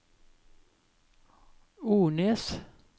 Ornes